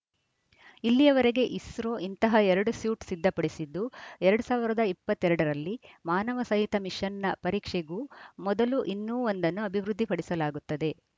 ಇಲ್ಲಿವರೆಗೆ ಇಸ್ರೋ ಇಂತಹ ಎರಡು ಸ್ಯೂಟ್‌ ಸಿದ್ಧಪಡಿಸಿದ್ದು ಎರಡ್ ಸಾವಿರದ ಇಪ್ಪತ್ತ್ ಎರಡ ರಲ್ಲಿ ಮಾನವ ಸಹಿತ ಮಿಶನ್‌ನ ಪರೀಕ್ಷೆಗೂ ಮೊದಲು ಇನ್ನೂ ಒಂದನ್ನು ಅಭಿವೃದ್ಧಿಪಡಿಸಲಾಗುತ್ತದೆ